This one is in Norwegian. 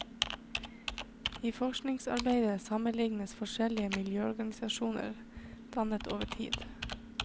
I forskningsarbeidet sammenlignes forskjellige miljøvernorganisasjoner dannet over tid.